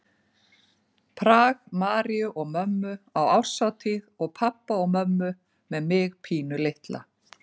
Prag, Maríu og mömmu á árshátíð og pabba og mömmu með mig pínulitla.